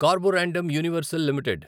carborundum Universal limited